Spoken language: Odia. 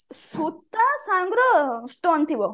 ସୂତା ସଙ୍ଗର stone ଥିବ